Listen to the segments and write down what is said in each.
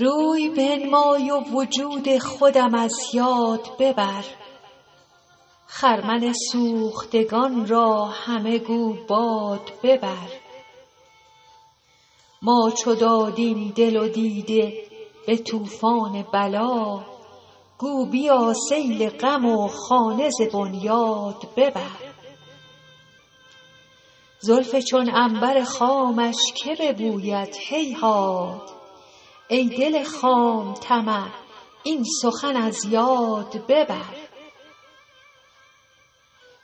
روی بنمای و وجود خودم از یاد ببر خرمن سوختگان را همه گو باد ببر ما چو دادیم دل و دیده به طوفان بلا گو بیا سیل غم و خانه ز بنیاد ببر زلف چون عنبر خامش که ببوید هیهات ای دل خام طمع این سخن از یاد ببر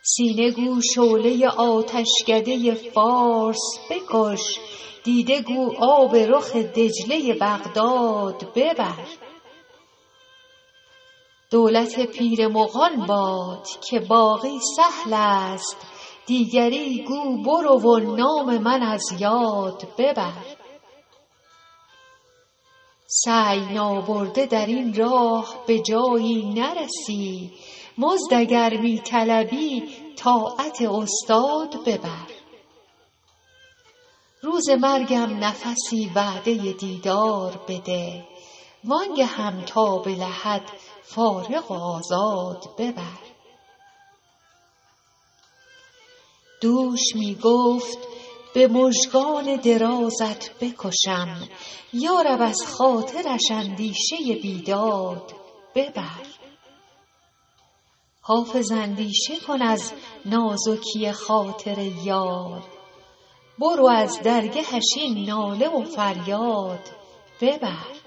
سینه گو شعله آتشکده فارس بکش دیده گو آب رخ دجله بغداد ببر دولت پیر مغان باد که باقی سهل است دیگری گو برو و نام من از یاد ببر سعی نابرده در این راه به جایی نرسی مزد اگر می طلبی طاعت استاد ببر روز مرگم نفسی وعده دیدار بده وآن گهم تا به لحد فارغ و آزاد ببر دوش می گفت به مژگان درازت بکشم یا رب از خاطرش اندیشه بیداد ببر حافظ اندیشه کن از نازکی خاطر یار برو از درگهش این ناله و فریاد ببر